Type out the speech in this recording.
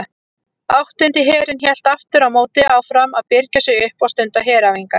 Áttundi herinn hélt aftur á móti áfram að birgja sig upp og stunda heræfingar.